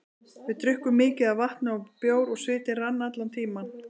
Við drukkum mikið af vatni og bjór og svitinn rann allan tímann.